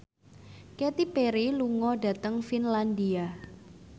Katy Perry lunga dhateng Finlandia